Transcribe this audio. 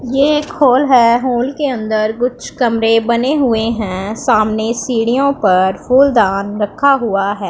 ये एक हॉल है हॉल के अंदर कुछ कमरे बने हुए हैं सामने सीढ़ियों पर फूलदान रखा हुआ है।